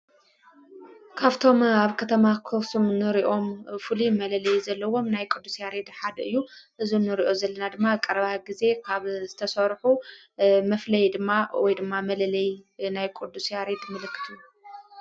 ካብቶም ኣብ ከተማ ኣክሱም ኖርእኦም ፉሉ መለለይ ዘለዎም ናይ ቆዱ ስያሬድ ሓድ እዩ እዙ ኖርእዮ ዘለና ድማ ቀረባህ ጊዜ ካብ ዝተሠርሑ መፍለይ ድማ ወይ ድማ መለለይ ናይ ቆዱሰ ስያሬድ ምልክቱ